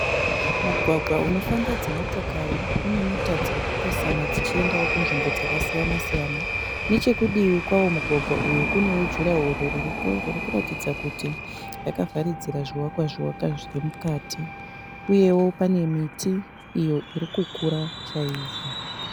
Mugwagwa unofamba dzimotokari une mota dzirichipesana dzichiendawo kunzvimbo dzakasiyana siyana . Nechekudivi kwawo mugwagwa uyu kunewo durawall ririko ririkuratidza kuti rakavharidzira zvivakwa zvivakwa zviri mukati . Uyewo pane miti iyo irikukura chaizvo.